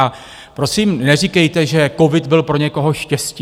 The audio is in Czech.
A prosím, neříkejte, že covid byl pro někoho štěstí.